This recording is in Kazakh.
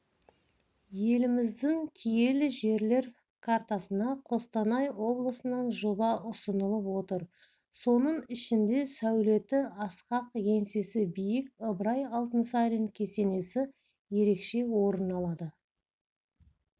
еліміздің киелі жерлер картасына қостанай облысынан жоба ұсынылып отыр соның ішінде сәулеті асқақ еңсесі биік ыбырай алтынсарин кесенесі ерекше орын алады